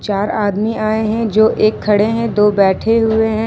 चार आदमी आए हैं जो एक खड़े हैं दो बैठे हुए हैं।